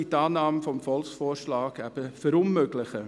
Die Annahme des Volksvorschlags würde dies verunmöglichen.